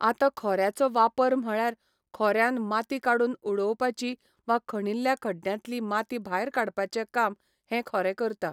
आता खोऱ्याचो वापर म्हळयार खोऱ्यान माती काडून उडोवपाची वा खणिल्ल्या खड्ड्यांतली माती भायर काडपाचे काम हे खोरें करता